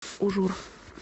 ужур